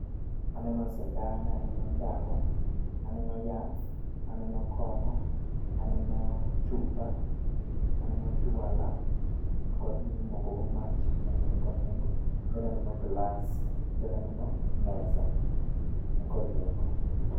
Aneno sindan, aneno ndawa, aneno yath, aneno kong'o, aneno chupa, aneno jwala to kod gimimoko go mach, mano be nikod nengo, then aneno glass, then aneno mesa. Nikod nengo.